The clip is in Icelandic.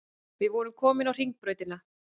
Við vorum komin á Hringbrautina.